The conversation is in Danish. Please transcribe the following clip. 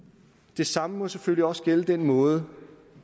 det samme må selvfølgelig også gælde den måde